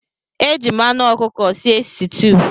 Eji m anh ọkụkọ sie sitew.